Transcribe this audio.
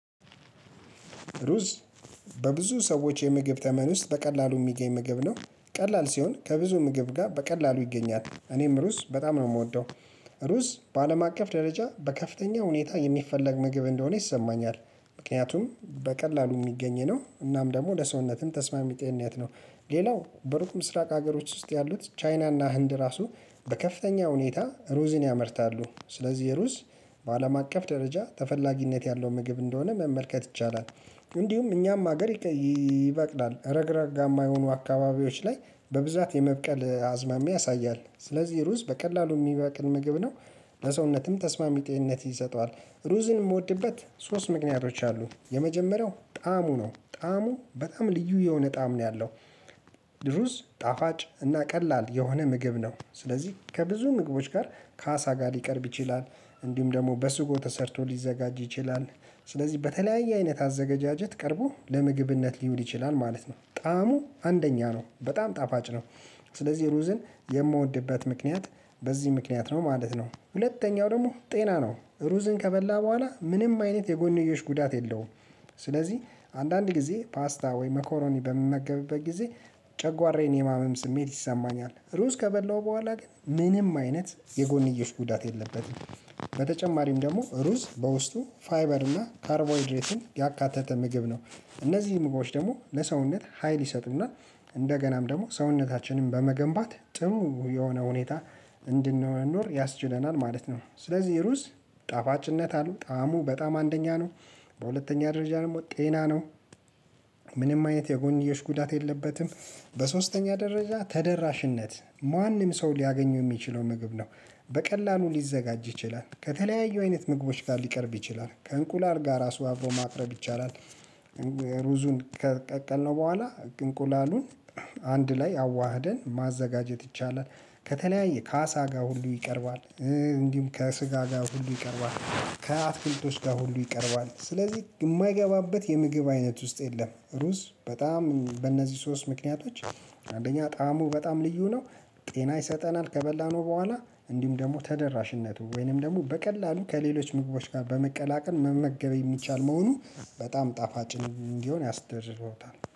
ሩዝ በብዙ ሰዎች የምግብ ተመን ውስጥ በቀላሉ የሚገኝ ምግብ ነው ቀላል ሲሆን ከብዙ ምግብ ጋር በቀላሉ ይገኛል እኔም ሩዝ በጣም ነው የምወደው። ሩስ በአለም አቀፍ ደረጃ በከፍተኛ ሁኔታ የሚፈለግ ምግብ እንደሆነ ይሰማኛል ምክንያቱም በቀላሉ የሚገኝ ነው እናም ደግሞ ለሰውነትም ተስማሚነት ጤንነት ነው። ሌላው በሩቅ ምስራቅ ሀገሮች ውስጥ ያሉት ቻይናና ህንድ ራሱ። በከፍተኛ ሁኔታ ሩዝን ያመርታሉ ስለዚህ ሩዝ በአለም አቀፍ ደረጃ ተፈላጊነት ያለው ምግብ እንደሆነ መመልከት ይቻላል። እንዲሁም እኛም ሀገር ይበቅላል ረግረጋማ የሆኑ አካባቢዎች ላይ በብዛት የመብቀል አዝማሚያ ያሳያል ስለዚህ ሩዝ በቀላሉ የሚበቅል ምግብ ነው። በሰውነትም ተስማሚ ጤንነት ይሰጠዋል። ሩዝን የምወድበት ሶስት ምክንያቶች አሉ የመጀመሪያው ጣዕሙ ነው ጣዕሙ በጣም ልዩ የሆነ ጣዕም ነው ያለው። ሩዝ ጣፋጭ እና ቀላል የሆነ ምግብ ነው። ስለዚህ ከብዙ ምግቦች ጋር ካሳ ጋር ሊቀርብ ይችላል። እንዲሁም ደግሞ በስጎ ተሰርቶ ሊዘጋጅ ይችላል። ስለዚህ በተለያየ አይነት አዘገጋጃጀት ቀርቦ ለምግብነት ሊሆን ይችላል ማለት ነው። ጣዕሙ አንደኛ ነው በጣም ጣፋጭ ነው። ስለዚህ ሩዝን የምወድበት ምክንያት በዚህ ምክንያት ነው ማለት ነው። ሁለተኛው ደግሞ ጤና ነው ሩዝን ከበላህ በኋላ ምንም አይነት የጎንዮሽ ጉዳት የለውም። ስለዚህ አንዳንድ ጊዜ ፓስታ ወይም መኮሮኒ በምመገብበት ጊዜ ጨጓራዬን የማመም ስሜት ይሰማኛል። ሩስ ከበላሁ በኋላ ግን ምንም አይነት የጎንየሽ ጉዳት የለበትም። በተጨማሪም ደግሞ ሩዝ በውስጡ ፋይበር እና ካርቦይድሬትን ያካተተ ምግብ ነው። እነዚህም ምግቦች ደግሞ ለሰውነት ሀይል ይሰጡና እንደገናም ደግሞ ሰውነታችንን በመገንባት ጥሩ የሆነ ሁኔታ እንድንኖር ያስችለናል ማለት ነው። ስለዚህ ሩዝ ጣፋጭነት አለው ጣዕሙ በጣም አንደኛ ነው። በሁለተኛ ደረጃ ደግሞ ጤና ነው። ምንም አይነት የጎንየሽ ጉዳት የለበትም። በሶስተኛ ደረጃ ተደራሽነት ማንም ሰው ሊያገኘው የሚችለው ምግብ ነው። በቀላሉ ሊዘጋጅ ይችላል ከተለያዩ አይነት ምግቦች ጋር ሊቀርብ ይችላል ከእንቁላል ጋር ራሱ አብሮ ማቅረብ ይቻላል። ሩዙን ከቀቀልነው በኋላ እንቁላሉን አንድ ላይ አዋህደን ማዘጋጀት ይቻላል። ከተለያየ ከአሳ ጋር ሁሉ ይቀርባል። እንዲሁም ከስጋ ጋር ሁሉ ይቀርባል ከአትክልቶች ጋር ሁሉ ይቀርባል ስለዚህ የማይገባበት የምግብ አይነት ውስጥ የለም። ሩዝ በጣም በእነዚህ ሶስት ምክንያቶች አንደኛ ጣዕሙ በጣም ልዩ ነው። ጤና ይሰጠናል ከበላነው በኋላ እንዲሁም ደግሞ ተደራሽነቱ ወይንም ደግሞ በቀላሉ ከሌሎች ምግቦች ጋር በመቀላቀል መመገብ የሚቻል መሆኑ በጣም ጣፋጭ እንዲሆን ያስደርሰዋል